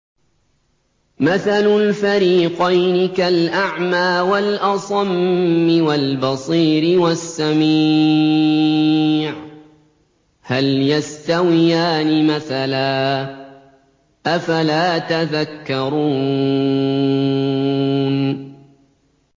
۞ مَثَلُ الْفَرِيقَيْنِ كَالْأَعْمَىٰ وَالْأَصَمِّ وَالْبَصِيرِ وَالسَّمِيعِ ۚ هَلْ يَسْتَوِيَانِ مَثَلًا ۚ أَفَلَا تَذَكَّرُونَ